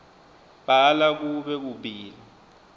bhala kube kubili